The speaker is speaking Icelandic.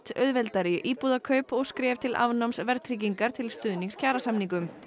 auðveldari íbúðakaup og skref til afnáms verðtryggingar til stuðnings kjarasamningum